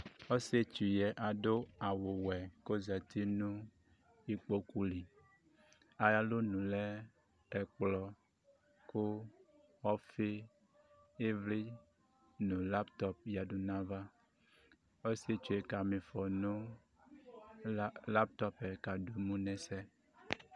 Ɔsɩ etsu ƴɛ aɖʋ awʋ wɛ ƙ' ozati nʋ iƙpoƙu liAƴʋ alonu lɛ ɛƙplɔ, ɔfɩ, ɩvlɩ nʋ laptɔp ƴǝ ɖu nʋ aƴʋ avaƆsɩetsue ƙa m' ɩfɔ nʋ latɔp ƴɛ k' aɖʋ emu nʋ ɛsɛ